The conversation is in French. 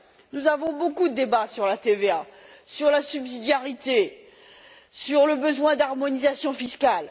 Nous avons beaucoup de débats sur la TVA, sur la subsidiarité, sur le besoin d'harmonisation fiscale.